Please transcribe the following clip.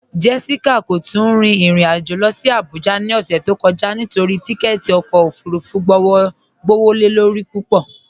Jessica kò tún rìn irin ajó lọ sí Àbújà ni ọṣẹ̀ tó kọja nítorí tìkẹ̀tì ọkọ ofúrúfú gbọwọ́lọ́rí púpọ.